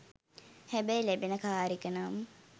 හැබැයි ලැබෙන කාර් එක නම්